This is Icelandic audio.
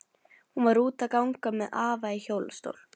Hún var úti að ganga með afa í hjólastól.